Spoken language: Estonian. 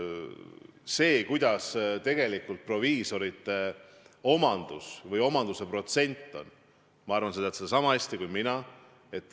Seda, milline on tegelikult proviisoromandi protsent, ma arvan, tead sa niisama hästi kui mina.